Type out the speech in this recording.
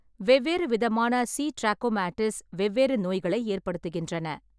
வெவ்வேறு விதமான C. Trachomatis வெவ்வேறு நோய்களை ஏற்படுத்துகின்றன.